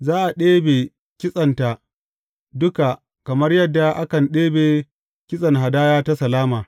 Za a ɗebe kitsenta duka kamar yadda akan ɗebe kitsen hadaya ta salama.